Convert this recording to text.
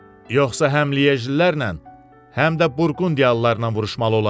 Yoxsa həm liyejlilərlə, həm də burqundiyalılarla vuruşmalı olarıq.